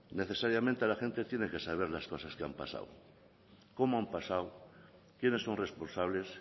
necesariamente la gente tiene que saber las cosas que han pasado cómo han pasado quiénes son responsables